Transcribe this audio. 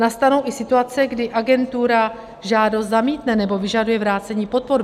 Nastanou i situace, kdy agentura žádost zamítne nebo vyžaduje vrácení podpor.